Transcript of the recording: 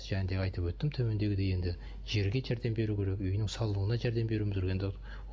және де айтып өттім төмендегідей енді жерге жәрдем беру керек үйінің салынуына жәрдем беруіміз керек енді